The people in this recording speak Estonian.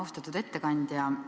Austatud ettekandja!